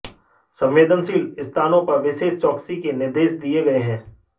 संवेदनशील स्थानों पर विशेष चौकसी के निर्देश दिए गए हैं